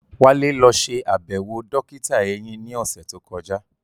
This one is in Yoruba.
Wálé lọ ṣe àbẹ̀wò dókítà eyín ní ọ̀sẹ̀ tó kọjá